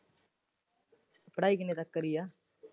ਪੜ੍ਹਾਈ ਕਿਨੇ ਤੱਕ ਕਰਨੀ ਹੈ?